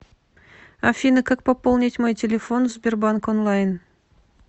афина как пополнить мой телефон в сбербанк онлайн